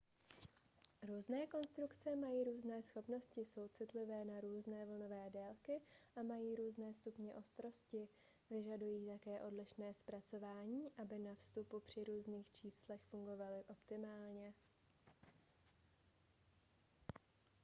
různé konstrukce mají různé schopnosti jsou citlivé na různé vlnové délky a mají různé stupně ostrosti vyžadují také odlišné zpracování aby na vstupu a při různých číslech fungovaly optimálně